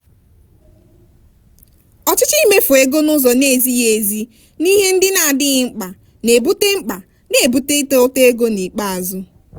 ọchịchọ imefu ego n'ụzọ na-ezighi ezi n'ihe ndị na-adịghi mkpa na-ebute mkpa na-ebute ịta ụta ego n'ikpeazụ.